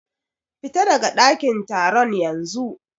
Fita daga ɗakin taron yanzu.